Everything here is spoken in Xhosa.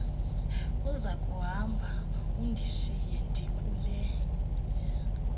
uzakuhamba undishiye ndikule